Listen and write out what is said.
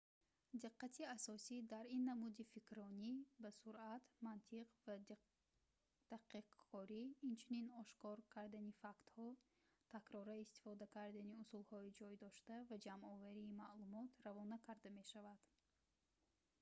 диққати асосӣ дар ин намуди фикрронӣ ба суръат мантиқ ва дақиқкорӣ инчунин ошкор кардани фактҳо такрора истифода кардани усулҳои ҷойдошта ва ҷамъоварии маълумот равона карда мешавад